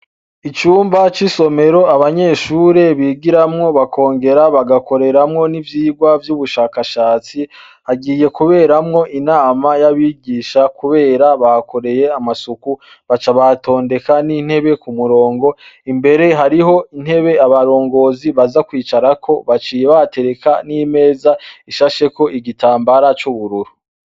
Icumba c'i somero abanyeshure bigiramwo bakongera bagakoreramwo n'ivyirwa vy'ubushakashatsi hagiye kuberamwo inama y'abigisha, kubera bakoreye amasuku baca batondeka n'intebe ku murongo imbere hariho intebe abarongozi baza kwicarako baciba atereka n'imeza ishasheko igitambara c'ubururu.